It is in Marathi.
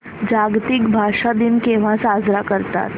जागतिक भाषा दिन केव्हा साजरा करतात